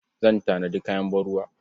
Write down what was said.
Zan tanadi kayan ban-ruwa.